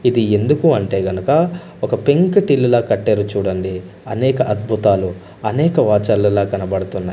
ఇది ఎందుకు అంటే గనక ఒక పెంకుటిల్లులా కట్టారు చూడండి అనేక అద్భుతాలు అనేక వాచర్లలో కనబడుతున్నాయి.